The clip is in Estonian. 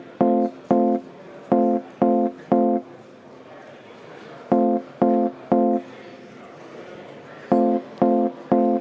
Jätkame kell 20.52.